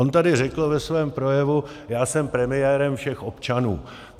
On tady řekl ve svém projevu: já jsem premiérem všech občanů.